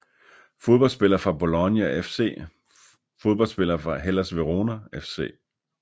Fodboldspillere fra Bologna FC Fodboldspillere fra Hellas Verona FC